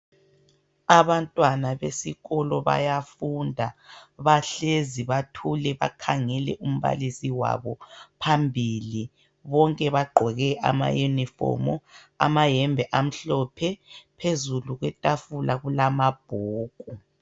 Abantwana besikolo bayafunda bahlezi bathule bakhangele umbalisi wabo phambili bonke bagqoke ama unifomu amayembe amhlophe phezulu kwetafula kulama bhuku